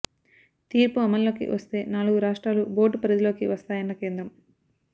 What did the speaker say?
తీర్పు అమల్లోకి వస్తే నాలుగు రాష్ట్రాలు బోర్డు పరిధిలోకి వస్తాయన్న కేంద్రం